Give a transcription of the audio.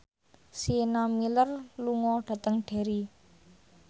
Sienna Miller lunga dhateng Derry